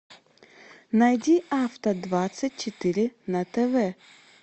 найди авто двадцать четыре на тв